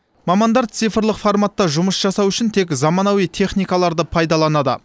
мамандар цифрлық форматта жұмыс жасау үшін тек заманауи техникаларды пайдаланады